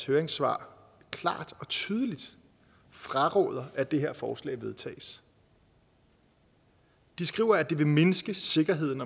høringssvar klart og tydeligt fraråder at det her forslag vedtages den skriver at det vil mindske sikkerheden